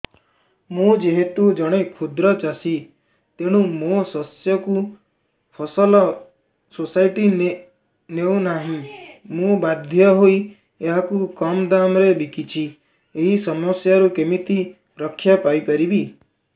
ମୁଁ ଯେହେତୁ ଜଣେ କ୍ଷୁଦ୍ର ଚାଷୀ ତେଣୁ ମୋ ଶସ୍ୟକୁ ଫସଲ ସୋସାଇଟି ନେଉ ନାହିଁ ମୁ ବାଧ୍ୟ ହୋଇ ଏହାକୁ କମ୍ ଦାମ୍ ରେ ବିକୁଛି ଏହି ସମସ୍ୟାରୁ କେମିତି ରକ୍ଷାପାଇ ପାରିବି